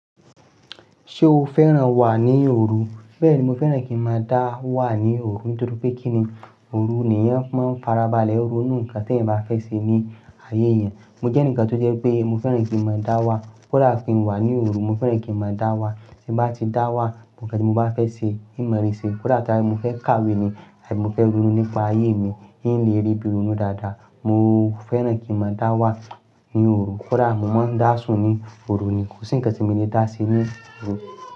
Ṣé o fẹ́ràn wà ní òru? Bẹ́ẹ̀ni, mo fẹ́ràn kí n máa dá wà ní òru nítorí pé kíni òru nì èèyàn fi máa ń farabalẹ̀. Òru ni ǹkan tí ẹ̀yin bá fẹ́ ṣe ní ayé yẹn. Mo jẹ́ ẹnìkan tó jẹ́ pé mo fẹ́ràn kí n máa dá wà. Kódà kí n wà ní òru, mo fẹ́ràn kí n máa dá wà. Tí n bá ti dá wà, ǹkan tí mo bá fẹ́ ṣe, n máa rí ṣe. Kódà ka ni mo fẹ́ kàwé ni, abí mo fẹ́ ronu nípa ayé mi, n lè rí ibí ronu dáadáa. Mo fẹ́ràn kí n máa dá wà ní òru. Kódà mo máa ń dá sùn ní òru ni. Kò sí ǹkan tí mi lè dá se ní òru.